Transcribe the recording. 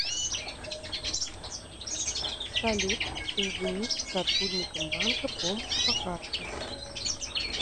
салют соединить с сотрудником банка помощь по карте